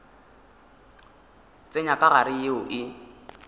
tsenya ka gare yeo e